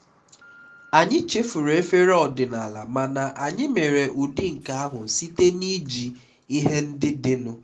anyị chefuru efere ọdịnala mana anyị mere ụdị nke ahụ site na iji ihe ndị dịnụ